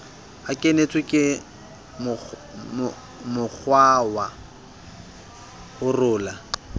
a kenetswe ke mokgwawa holora